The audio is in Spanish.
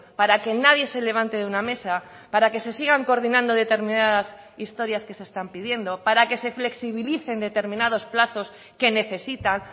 para que nadie se levante de una mesa para que se sigan coordinando determinadas historias que se están pidiendo para que se flexibilicen determinados plazos que necesitan